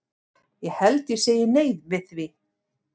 Ég held ég segi nei við því.